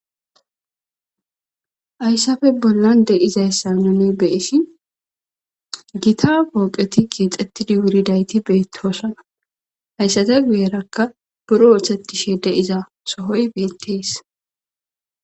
Haysappe bola de7izaysa nuni be7ishin gita foqeti kexetidi wuridayti betosona.haysata guyeraka buro oththtetishe de7iza sohoy betes.